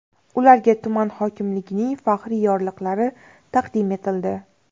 Ularga tuman hokimligining faxriy yorliqlari taqdim etildi.